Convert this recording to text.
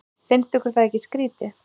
Finnst ykkur það ekki skrýtið?